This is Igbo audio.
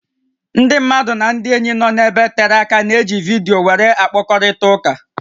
Ndị mmadụ nà ndị ényí ndị nọ ebe tere áká na-eji vidiyo wéré akpakọrịta ụká